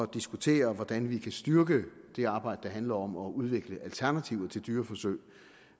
diskutere hvordan vi kan styrke det arbejde der handler om at udvikle alternativer til dyreforsøg